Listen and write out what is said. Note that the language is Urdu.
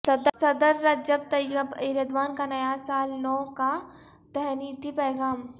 صدر رجب طیب ایردوان کا سال نو کا تہنیتی پیغام